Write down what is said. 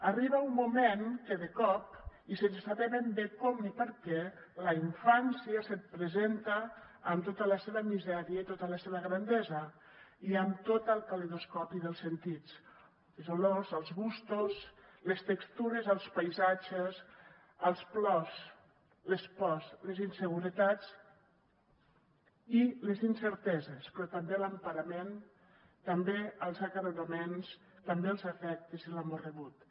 arriba un moment que de cop i sense saber ben bé com ni per què la infància se’t presenta amb tota la seva misèria i tota la seva grandesa i amb tot el calidoscopi dels sentits les olors els gustos les textures els paisatges els plors les pors les inseguretats i les incerteses però també l’emparament també els acaronaments també els afectes i l’amor rebuts